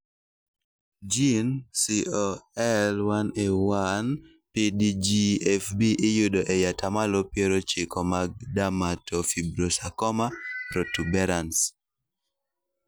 jin COL1A1-PDGFB iyudo ei atamalo piero ochiko mag dermatofibrosarcoma protuberans